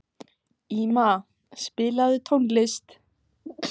Íma, spilaðu tónlist.